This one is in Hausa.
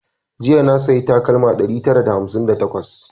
Jiya na sayi takalmar ɗari tara da hamsin da takwas